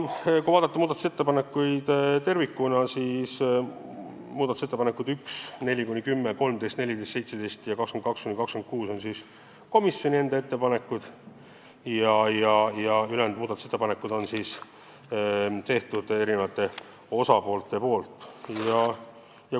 Kui vaadata muudatusettepanekuid tervikuna, siis näeme, et ettepanekud 1, 4–10, 13, 14, 17 ja 22–26 on siis komisjoni enda ettepanekud, ülejäänud on eri osapoolte tehtud.